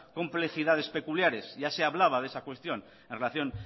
complejidades peculiares ya se hablaba de esa cuestión en relación